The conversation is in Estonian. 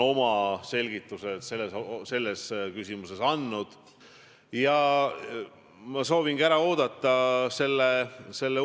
Kuidas sa seletad selles olukorras Eesti inimestele, et niimoodi ehitatakse sidusat ühiskonda?